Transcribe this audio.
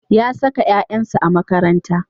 Ya saka ƴaƴansa a makaranta.